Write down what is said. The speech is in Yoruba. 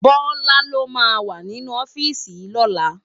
Bola ló má wá ninú òfisi yi lòlá